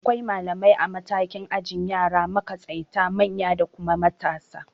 Akwai malamai a matakin ajin yara, makatsaita, manya da kuma matasa